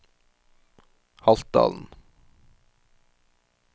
Haltdalen